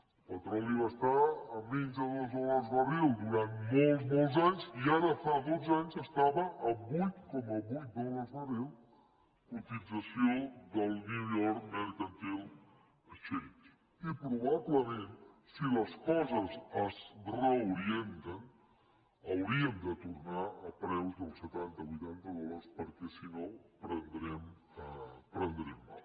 el petroli va estar a menys de dos dòlars barril durant molts i molts anys i ara fa dotze anys estava a vuit coma vuit dòlars barril cotització del new york mercantil exchange i probablement si les coses es reorienten hauríem de tornar a preus dels setantavuitanta dòlars perquè si no prendrem mal